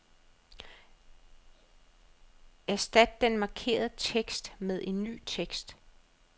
Erstat den markerede tekst med ny tekst.